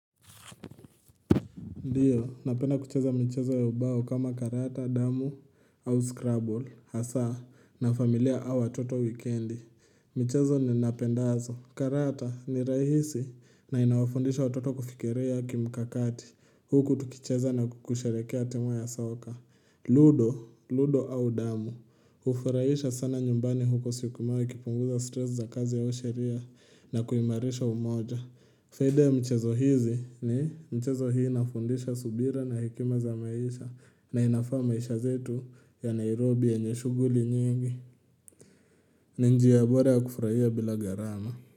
Ndiyo, napenda kucheza michezo ya ubao kama karata, damu au scrabble. Hasa na familia au watoto wikendi. Mchezo niupendao, karata ni rahisi na inawafundisha watoto kufikiria kimkakati. Huku tukicheza na kusherehekea timu ya soka. Ludo, ludo au damu. Ufurahisha sana nyumbani huko siukumawi kipunguza stress za kazi au sheria na kuimarisha umoja. Fede mchezo hizi. Ni mchezo hii inafundisha subira na hekima za maisha na inafaa maisha zetu ya Nairobi yenye shughuli nyingi. Ni njia bora ya kufurahia bila gharama.